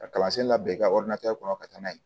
Ka kalansen labɛn i ka kɔnɔ ka taa n'a ye